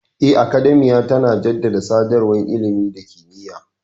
Eh, Academiya tana jaddada sadarwar ilimi da kimiyya.